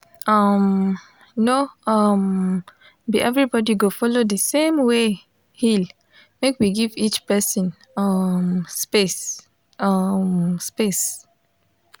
um no um be everybody go follow the same way heal make we give each person um space um space